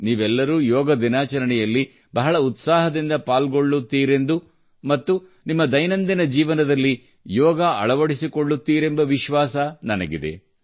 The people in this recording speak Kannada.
ನೀವೆಲ್ಲರೂ ಯೋಗ ದಿನಾಚರಣೆಯಲ್ಲಿ ಬಹಳ ಉತ್ಸಾಹದಿಂದ ಪಾಲ್ಗೊಳ್ಳುತ್ತೀರೆಂದು ಮತ್ತು ನಿಮ್ಮ ದೈನಂದಿನ ಜೀವನದಲ್ಲಿ ಯೋಗ ಅಳವಡಿಸಿಕೊಳ್ಳುತ್ತೀರೆಂಬ ವಿಶ್ವಾಸ ನನಗಿದೆ